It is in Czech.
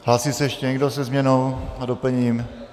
Hlásí se ještě někdo se změnou a doplněním?